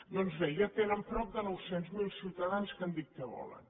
doncs bé ja tenen prop de nou cents miler ciutadans que han dit què volen